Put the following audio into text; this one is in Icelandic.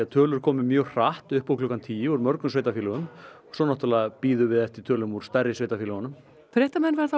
tölur komi mjög hratt upp úr klukkan tíu úr mörgum sveitarfélögum svo náttúrlega bíðum við eftir tölum úr stærri sveitarfélögunum fréttamenn verða á